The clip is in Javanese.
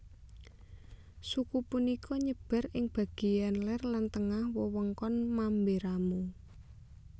Suku punika nyebar ing bageyan ler lan tengah wewengkon Mamberamo